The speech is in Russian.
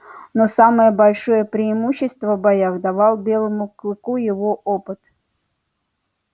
но самое большое преимущество в боях давал белому клыку его опыт